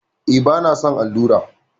E, bana son allura.